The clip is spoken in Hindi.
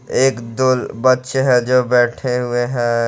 एक दो बच्चे हैं जो बैठे हुए हैं।